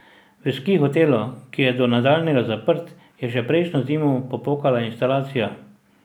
V Ski hotelu, ki je do nadaljnjega zaprt, je že prejšnjo zimo popokala instalacija.